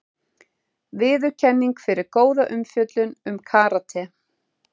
Viðurkenning fyrir góða umfjöllun um karate